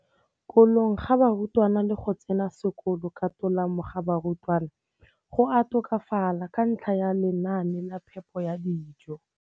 kolong ga barutwana le go tsena sekolo ka tolamo ga barutwana go a tokafala ka ntlha ya lenaane la phepo ya dijo.